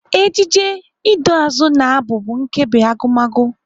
Ejije, iduuazụ na Abụ bụ nkebi Agụmagụ.